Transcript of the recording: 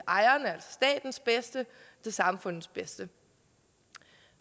samfundets bedste